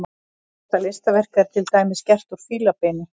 Þetta listaverk er til dæmis gert úr fílabeini.